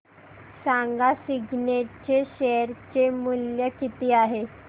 सांगा सिग्नेट चे शेअर चे मूल्य किती आहे